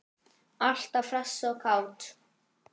Alltaf hress og kát.